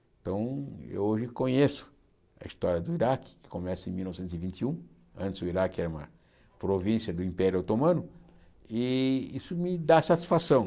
Então, eu hoje conheço a história do Iraque, que começa em mil novecentos e vinte e um, antes o Iraque era uma província do Império Otomano, e isso me dá satisfação.